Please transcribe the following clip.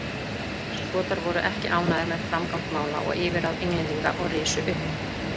Skotar voru ekki ánægðir með framgang mála og yfirráð Englendinga og risu upp.